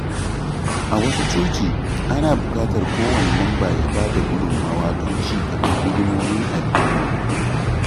A wasu coci, ana buƙatar kowane mamba ya bada gudunmawa don ci gaban hidimomin addini.